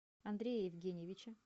андрея евгеньевича